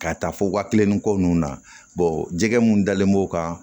Ka taa fo waa kelen ni ko nunnu na jɛgɛ mun dalen b'o kan